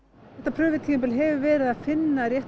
þetta hefur verið að finna réttar